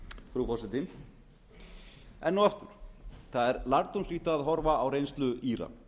og aftur það er lærdómsríkt að horfa á reynslu íra